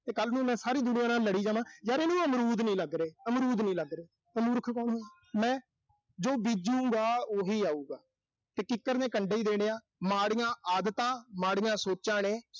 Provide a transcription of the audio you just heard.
ਤੇ ਕੱਲ੍ਹ ਨੂੰ ਮੈਂ ਸਾਰੀ ਦੁਨੀਆਂ ਨਾਲ ਲੜੀ ਜਾਵਾਂ, ਯਰ ਇਹਨੂੰ ਅਮਰੂਦ ਨੀਂ ਲੱਗ ਰਹੇ, ਅਮਰੂਦ ਨੀਂ ਲੱਗ ਰਹੇ ਤਾਂ ਮੂਰਖ ਕੌਣ ਹੋਊ, ਮੈਂ। ਜੋ ਬੀਜੂੰ ਗਾ ਉਹੀ ਆਊਗਾ। ਤੇ ਕਿੱਕਰ ਨੇ ਕੰਡੇ ਹੀ ਦੇਣੇ ਆ। ਮਾੜੀਆਂ ਆਦਤਾਂ, ਮਾੜੀਆਂ ਸੋਚਾਂ ਨੇ।